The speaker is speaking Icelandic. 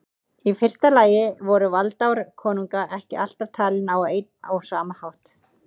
Í fyrsta lagi voru valdaár konunga ekki alltaf talin á einn og sama hátt.